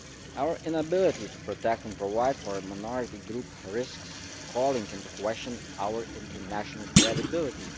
Our inability to protect and provide for a minority group risks calling into question our international credibility.